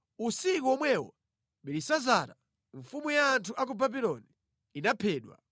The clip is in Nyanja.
Usiku womwewo Belisazara, mfumu ya anthu a ku Babuloni, inaphedwa,